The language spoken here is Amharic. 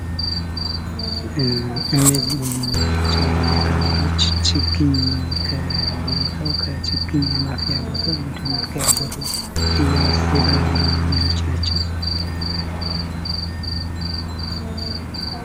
እነዚህ የምናያቸው ልጃገረዶች ችግኝ ከማፍያ ቦታው ወደ መትከያ ቦታው እየወሰዱ የሚገኙ ልጆች ናቸው።